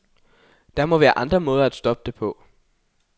Der må være andre måder at stoppe det på.